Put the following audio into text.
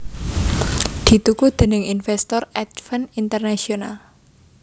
dituku déning invèstor Advent International